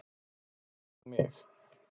Hver gat mig?